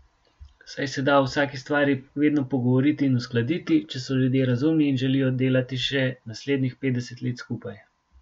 Saj se da o vsaki stvari vedno pogovoriti in uskladiti, če so ljudje razumni in želijo delati še naslednjih petdeset let skupaj.